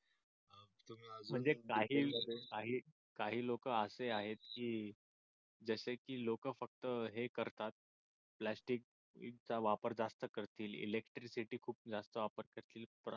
म्हणजे काही लोक असे आहेत की जसे की लोक फक्त हे करतात प्लॅस्टिक चा वापर जास्त करतील इलेक्ट्रिसिटी खुप जास्त वापर करतील.